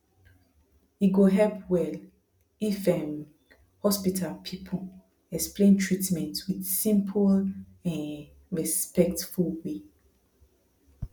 e go help well if um hospital people explain treatment with simple um respectful way